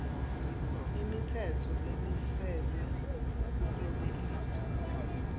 imitsetfo lemiselwe kuklomelisa